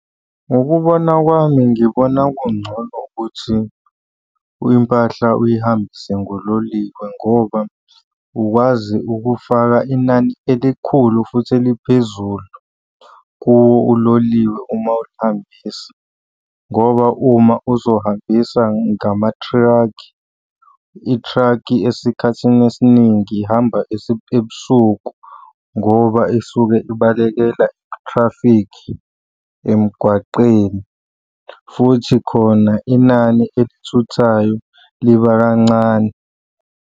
Ngokubona kwami ngibona kungcono ukuthi impahla uyihambise ngololiwe ngoba ukwazi ukufaka inani elikhulu futhi eliphezulu kuwo uloliwe uma uyihambisa, ngoba uma uzohambisa ngamathrakhi, ithrakhi esikhathini esiningi ihamba ebusuku ngoba isuke ibalekela i-traffic emgwaqeni, futhi khona inani elithuthayo liba kancane.